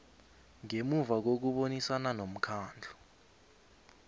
ngemuva kokubonisana nomkhandlu